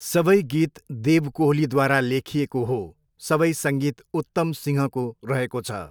सबै गीत देव कोहलीद्वारा लेखिएको हो, सबै सङ्गीत उत्तम सिंहको रहेको छ।